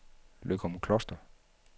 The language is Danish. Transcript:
Løgumkloster